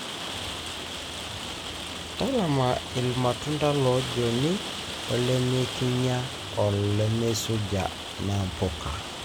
talama ilmatunda lojoni olemekinya olemeisuja na mpuka.